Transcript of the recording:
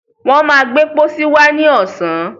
wọ́n má gbé pósí wá ní ọ̀sán.